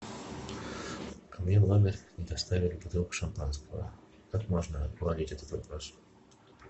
ко мне в номер не доставили бутылку шампанского как можно уладить этот вопрос